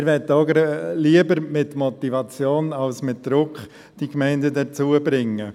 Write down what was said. Wir möchten die Gemeinden auch lieber mit Motivation als mit Druck dazu bringen.